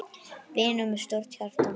Vinur með stórt hjarta.